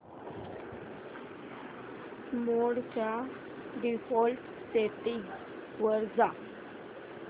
मोड च्या default settings वर जा